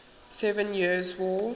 seven years war